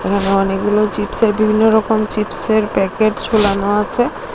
এখানে অনেকগুলো চিপসের বিভিন্নরকম চিপসের প্যাকেট ঝোলানো আছে।